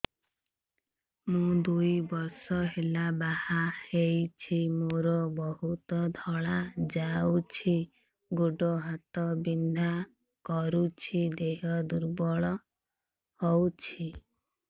ମୁ ଦୁଇ ବର୍ଷ ହେଲା ବାହା ହେଇଛି ମୋର ବହୁତ ଧଳା ଯାଉଛି ଗୋଡ଼ ହାତ ବିନ୍ଧା କରୁଛି ଦେହ ଦୁର୍ବଳ ହଉଛି